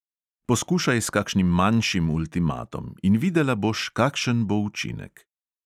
Poskušaj s kakšnim manjšim ultimatom in videla boš, kakšen bo učinek.